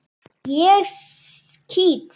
Ég skýt!